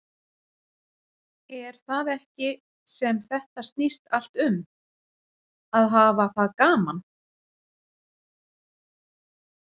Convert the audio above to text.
Er það ekki sem þetta snýst allt um, að hafa það gaman?